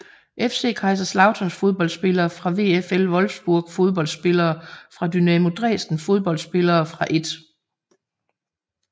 FC Kaiserslautern Fodboldspillere fra VfL Wolfsburg Fodboldspillere fra Dynamo Dresden Fodboldspillere fra 1